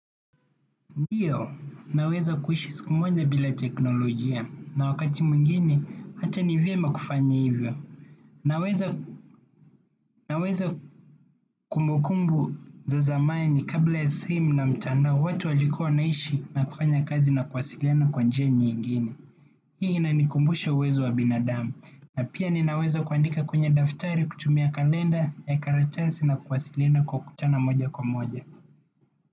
Ndiyo, naweza kuishi siku moja bila teknolojia na wakati mwingine hata ni vyema kufanya hivyo, naweza naweza kumbu kumbu za zamani kabla ya simu na mtandao watu walikua wanaishi na kufanya kazi na kuwasiliana kwa njia nyingini. Hii inanikumbusha uwezo wa binadamu na pia ninaweza kuandika kwenye daftari kutumia kalenda ya karatasi na kuwasiliana kwa kutana moja kwa moja.